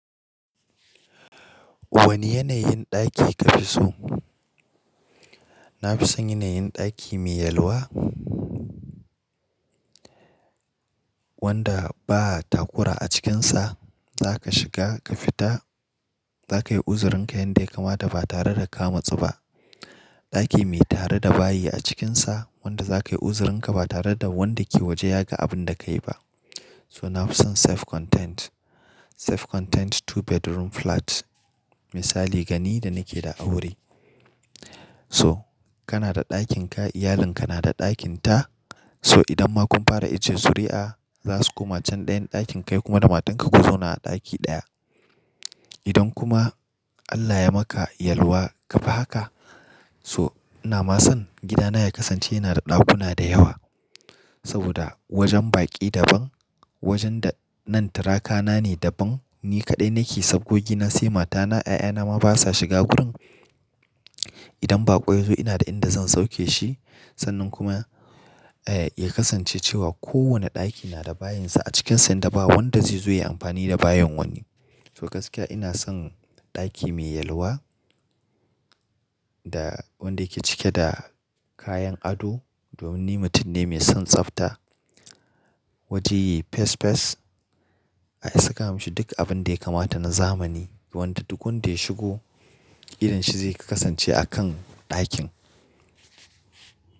Wane yanayin ɗaki kafi so? Nafison yanayin ɗaki mai yalwa wanda baa takura a cikinsa. Zaka shiga ka fita zakayi uzurin kayan da yakamata ba tare da ka matsu ba. Ɗaki mai tare da bayi a cikinsa wanda zakayi uzurin ka ba tare da wanda kewaje ya ga abinda kayi ba. So nafison self contained. Self contained two bedroom flat. Misali gani da nake da aure. So kana da ɗakin ka, iyalin kana da ɗakin ta. So idan ma kun fara ajjiye zuri'a zasuko macen ɗayan ɗakin kai kuma da matan ka ku zauna a ɗaki ɗaya. Idan kuma Allah ya maka yalwa kafi haka so inama son gida na ya kasance yana da ɗakuna da yawa. Saboda wajen baƙi daban, wajenda nan turaka na ne daban. Ni kaɗai nake sabgo gina sai matana, 'ya'ya na ma basa shiga gurin. Idan baƙo yazo ina da inda zan sauke shi. Sannan kuma eh ya kasance cewa kowane ɗaki nada bayensa a cikinsa yanda ba wanda zai zo ya yi amfani da bayen wani. To gaskiya ina son ɗaki mai yalwa da wanda yake cike da kayan ado. Domin ni mutum ne mai son tsafta. Waje yayi fes fes. Ai saka mashi duk abinda yakamata na zamani. Wanda duk wanda ya shigo idonshi zai kasance a kan ɗakin.